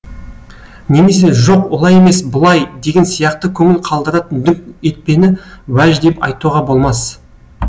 немесе жоқ олай емес былай деген сияқты көңіл қалдыратын дүңк етпені уәж деп айтуға болмас